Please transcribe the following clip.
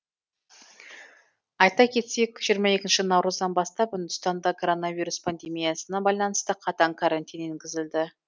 айта кетсек жиырма екінші наурыздан бастап үндістанда коронавирус пандемиясына байланысты қатаң карантин енгізілді